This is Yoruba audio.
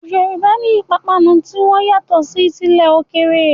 Yorùbá ní ìpapánu ti wọn yàtọ̀ sí tilẹ̀ òkèèrè.